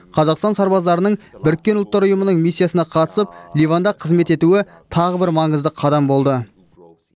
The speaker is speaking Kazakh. қазақстан сарбаздарының біріккен ұлттар ұйымының миссиясына қатысып ливанда қызмет етуі тағы бір маңызды қадам болды